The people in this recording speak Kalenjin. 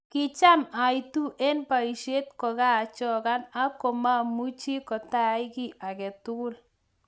Kicham aitu eng baishet kokachokan ak kimamuchi kotaai kiy agetugul.